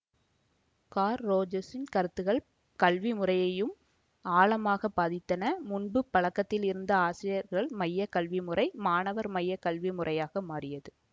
கார்ல ரோஜர்ஸின் கருத்துக்கள் கல்வி முறையையும் ஆழமாக பாதித்தன முன்பு பழக்கத்தில் இருந்த ஆசிரியர்கள் மைய கல்வி முறை மாணவர்மைய கல்வி முறையாக மாறியது